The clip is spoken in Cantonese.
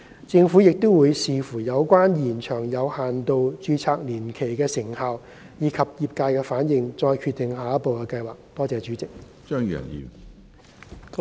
政府亦會視乎有關延長有限度註冊年期的成效，以及業界反應再決定下一步的計劃。